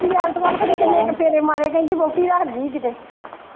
ਚਾਚੀ ਬੇਅੰਤ ਵੱਲ ਪਤਾ ਨਹੀਂ ਕਿਨ੍ਹੇ ਕ ਫੇਰੇ ਮਾਰੇ ਕਹਿੰਦੀ ਵੋਹਟੀ ਰੱਖ ਗਈ ਕਿਤੇ।